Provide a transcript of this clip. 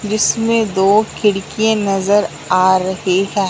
जिसमें दो खिड़की नजर आ रही है।